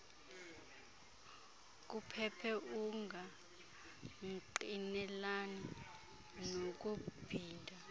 kuphephe ungangqinelani nokubhida